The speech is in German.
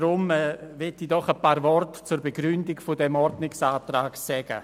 Darum möchte ich ein paar Worte zur Begründung dieses Ordnungsantrags sagen.